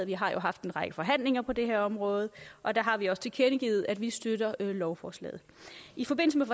vi har jo haft en række forhandlinger på det her område og der har vi også tilkendegivet at vi støtter lovforslaget i forbindelse med